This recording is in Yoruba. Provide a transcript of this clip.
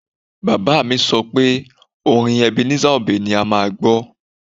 Bàbá mi sọ pé orin Ebenezer Obey ni a máa gbọ́